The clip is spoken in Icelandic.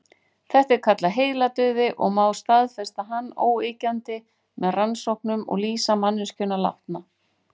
Þetta er kallað heiladauði og má staðfesta hann óyggjandi með rannsóknum og lýsa manneskjuna látna.